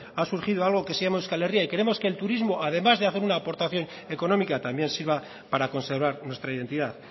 ha surgido algo que se llaman euskal herria y queremos que el turismo además de hacer una aportación económica también sirva para conservar nuestra identidad